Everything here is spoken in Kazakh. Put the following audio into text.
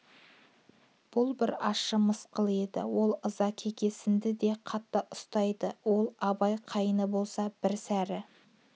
бұл бір ащы мысқыл еді ол ыза-кекесінді де қатты ұстайды ол абай қайны болса бір сәрі